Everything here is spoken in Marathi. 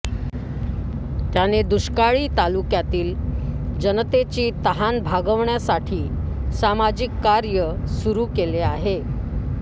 त्याने दुष्काळी तालुक्यातील जनतेची तहान भागवण्यासाठी सामाजिक कार्य सुरु केले आहे